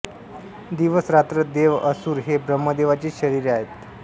दिवस रात्र देव असुर हे ब्रह्मदेवाचीच शरिरे आहेत